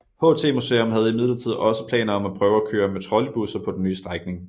HT Museum havde imidlertid også planer om at prøve at køre med trolleybusser på den nye strækning